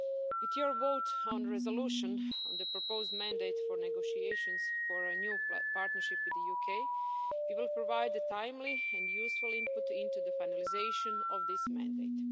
With your vote on the resolution on the proposed mandate for negotiations for a new partnership with the UK, you will provide a timely and useful input into the finalisation of this mandate.